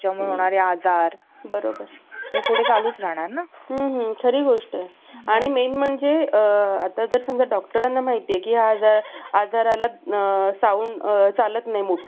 अं कोणतं बी हे चांगलंय, पोषक आहे, किंवा कोणत्या प्रकारच्या शेतीमध्ये हे बी येईल तिथ घेतलं जातं, ह्या शेतीमध्ये घेतलं जातं.